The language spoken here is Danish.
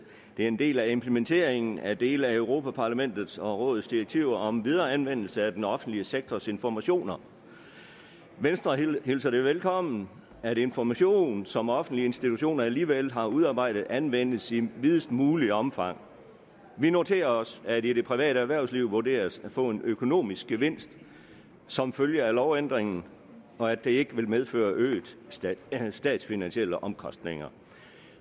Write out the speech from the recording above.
er en del af implementeringen af dele af europa parlamentet og rådets direktiv om videre anvendelse af den offentlige sektors informationer venstre hilser det velkommen at information som offentlige institutioner alligevel har udarbejdet anvendes i videst muligt omfang vi noterer os at det det private erhvervsliv vurderes at få en økonomisk gevinst som følge af lovændringen og at det ikke vil medføre øgede statsfinansielle omkostninger